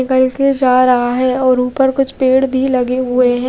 कहिसे जा रहा है और ऊपर कुछ पेड़ भी लगे हुए है।